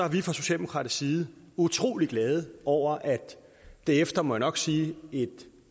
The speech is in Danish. vi fra socialdemokratisk side utrolig glade over at det efter må jeg nok sige et